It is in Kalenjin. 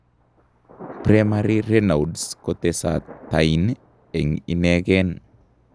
Primary raynaud kotesetain eng' ineken